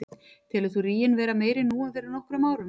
Telur þú ríginn vera meiri nú en fyrir nokkrum árum?